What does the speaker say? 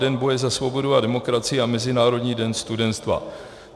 Den boje za svobodu a demokracii a Mezinárodní den studenstva.